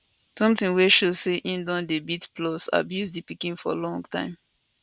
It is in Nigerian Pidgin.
sometin wey show say im don dey beat plus abuse di pikin for long time